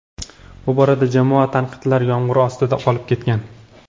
Bu borada jamoa tanqidlar yomg‘iri ostida qolib ketgan.